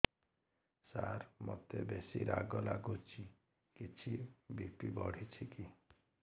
ସାର ମୋତେ ବେସି ରାଗ ଲାଗୁଚି କିଛି ବି.ପି ବଢ଼ିଚି କି